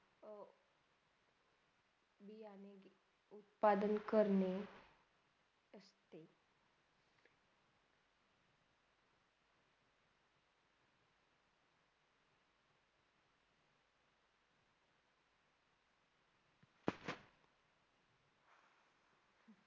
पालण करने.